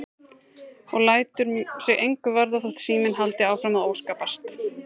Og lætur sig engu varða þótt síminn haldi áfram að óskapast.